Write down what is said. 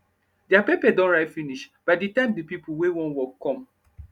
deir pepper don ripe finish by de time de pipo wey wan work come